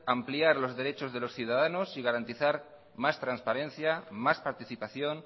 ampliar los derechos de los ciudadanos y garantizar más transparencia más participación